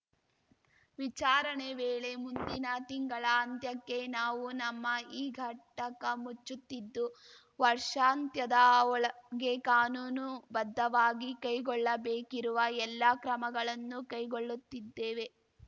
ವಿಚಾರಣೆ ವೇಳೆ ಮುಂದಿನ ತಿಂಗಳ ಅಂತ್ಯಕ್ಕೆ ನಾವು ನಮ್ಮ ಈ ಘಟಕ ಮುಚ್ಚುತ್ತಿದ್ದು ವರ್ಷಾಂತ್ಯದ ಒಳಗೆ ಕಾನೂನುಬದ್ಧವಾಗಿ ಕೈಗೊಳ್ಳಬೇಕಿರುವ ಎಲ್ಲ ಕ್ರಮಗಳನ್ನು ಕೈಗೊಳ್ಳುತ್ತಿದ್ದೇವೆ